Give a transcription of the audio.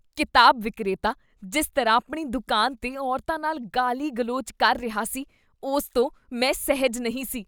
ਕਿਤਾਬ ਵਿਕਰੇਤਾ ਜਿਸ ਤਰ੍ਹਾਂ ਆਪਣੀ ਦੁਕਾਨ 'ਤੇ ਔਰਤਾਂ ਨਾਲ ਗਾਲੀ ਗਲੋਚ ਕਰ ਰਿਹਾ ਸੀ, ਉਸ ਤੋਂ ਮੈਂ ਸਹਿਜ ਨਹੀਂ ਸੀ